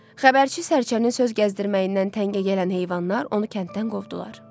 Xəbərçi sərçənin söz gəzdirməyindən təngə gələn heyvanlar onu kənddən qovdular.